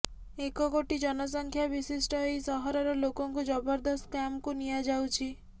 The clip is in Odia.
ଏକ କୋଟି ଜନସଂଖ୍ୟା ବିଶିଷ୍ଟ ଏହି ସହରର ଲୋକଙ୍କୁ ଜବରଦସ୍ତ କ୍ୟାମ୍ପକୁ ନିଆଯାଉଛି